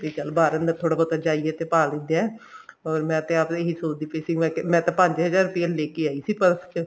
ਤੇ ਚੱਲ ਬਾਹਰ ਅੰਦਰ ਥੋੜਾ ਬਹੁਤਾ ਜਾਈਏ ਤੇ ਪਾ ਲਿੰਦੇ ਐ ਅਹ ਮੈਂ ਤੇ ਆਪ ਇਹੀ ਸੋਚਦੀ ਪਈ ਸੀ ਮੈਂ ਤਾਂ ਪੰਜ ਹਜ਼ਾਰ ਰੁਪਿਆ ਲੇਕੇ ਆਈ ਸੀ purse ਚ